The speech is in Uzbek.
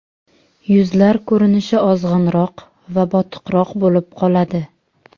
Yuzlar ko‘rinishi ozg‘inroq va botiqroq bo‘lib qoladi.